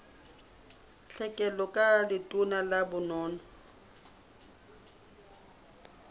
tlhekelo ka letona la bonono